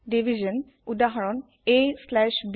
Division হৰনউদাহৰন aব